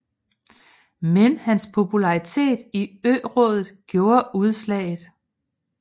Men hans popularitet i ørådet gjorde udslaget